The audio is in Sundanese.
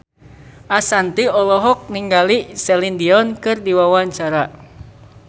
Ashanti olohok ningali Celine Dion keur diwawancara